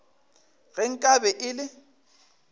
ge nka be e le